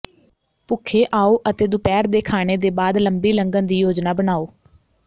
ਭੁੱਖੇ ਆਓ ਅਤੇ ਦੁਪਹਿਰ ਦੇ ਖਾਣੇ ਦੇ ਬਾਅਦ ਲੰਬੀ ਲੰਘਣ ਦੀ ਯੋਜਨਾ ਬਣਾਉ